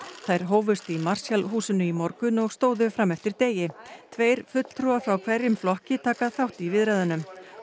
þær hófust í Marshall húsinu í morgun og stóðu fram eftir degi tveir fulltrúar frá hverjum flokki taka þátt í viðræðunum